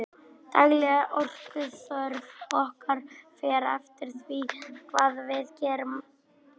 dagleg orkuþörf okkar fer eftir því hvað við gerum